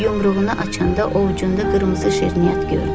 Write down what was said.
Yumruğunu açanda ovcunda qırmızı şirniyyat gördü.